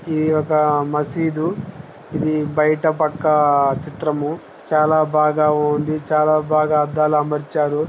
ఇది ఒక మషీదు ఇది బయట పక్క చిత్రం చాలా బాగా ఉంది చాలా బాగా అద్దాలు అమర్చారు.